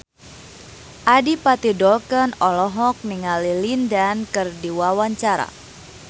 Adipati Dolken olohok ningali Lin Dan keur diwawancara